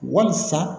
Walisa